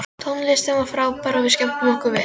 Tónlistin var frábær og við skemmtum okkur vel.